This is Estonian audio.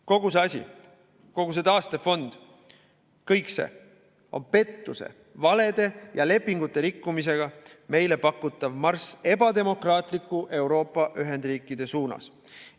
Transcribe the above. Kogu see asi, kogu see taastefond, kõik see on pettuse, valede ja lepingute rikkumisega meile pakutav marss ebademokraatliku Euroopa ühendriikide suunas.